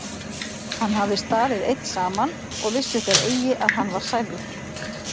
Hann hafði staðið einn saman og vissu þeir eigi að hann var særður.